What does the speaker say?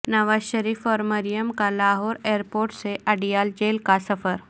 نواز شریف اور مریم کا لاہور ایرپورٹ سے اڈیالہ جیل کا سفر